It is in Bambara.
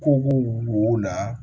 Koko wo na